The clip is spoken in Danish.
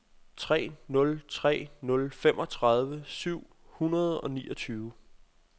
tre nul tre nul femogtredive syv hundrede og niogtyve